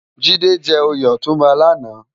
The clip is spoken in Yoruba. Jide jè óyé òtúnbá làná